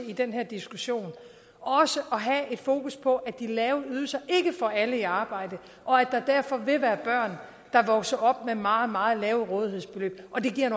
i den her diskussion også at have fokus på at de lave ydelser ikke får alle i arbejde og at der derfor vil være børn der vokser op med meget meget lave rådighedsbeløb og det giver